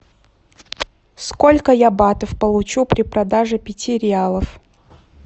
сколько я батов получу при продаже пяти реалов